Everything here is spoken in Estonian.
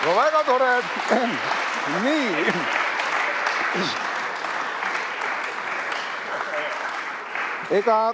No väga tore!